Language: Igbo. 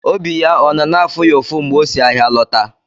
Obi ya ọ nọ na-afụ ya ụfụ mgbe o si ahịa lọta?